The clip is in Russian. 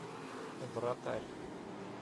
вратарь